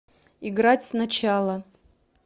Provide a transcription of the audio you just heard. играть сначала